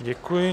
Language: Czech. Děkuji.